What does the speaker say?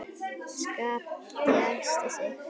Skapti æsti sig.